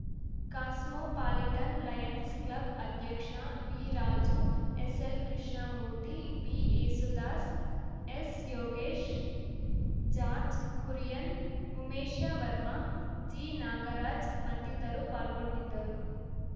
cosmo ಪಾಲಿಟನ್‌ lions club ಅಧ್ಯಕ್ಷ V Raju S L Krishnamurthy B Yesudas S Yogesh George Kurian Umesha Varma G Nagaraj ಮತ್ತಿತರು ಪಾಲ್ಗೊಂಡಿದ್ದರು